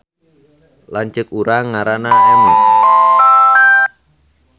Lanceuk urang ngaranna Emi